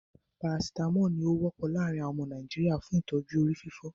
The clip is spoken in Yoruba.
Paracitamolu ní o wọ́pọ̀ láàrín àwọn ọmọ Nàìjíríà fún ìtọ́jú orí fífọ́.